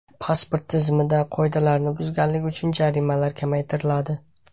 Pasport tizimi qoidalarini buzganlik uchun jarimalar kamaytiriladi.